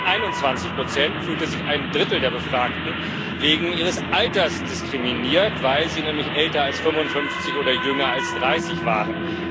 Von diesen 21 fühlte sich ein Drittel der Befragten wegen ihres Alters diskriminiert, weil sie nämlich älter als 55 oder jünger als 30 waren.